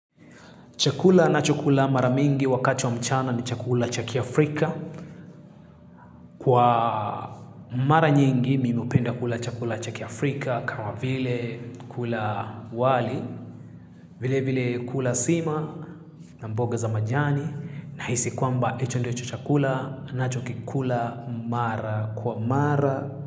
Chakula ninachokula mara mingi wakati wa mchana ni chakula cha kiafrika. Kwa mara nyingi, mimi hupenda kula chakula cha kiAfrika kama vile kula wali, vile vile kula sima, na mboga za majani, nahisi kwamba hicho ndicho chakula ninachokikula mara kwa mara.